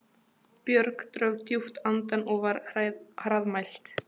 Björg dró djúpt andann og var hraðmælt